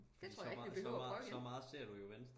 det tror jeg ikke vi behøver og prøve igen